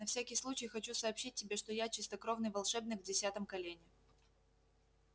на всякий случай хочу сообщить тебе что я чистокровный волшебник в десятом колене